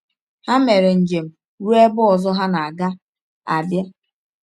Ha mere njem ruo ebe ọzọ ha na-aga — Abia.